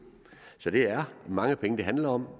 så det er mange penge det handler om